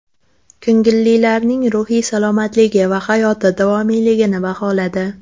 Ko‘ngillilarning ruhiy salomatligi va hayoti davomiyligini baholadi.